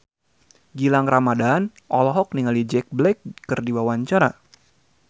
Gilang Ramadan olohok ningali Jack Black keur diwawancara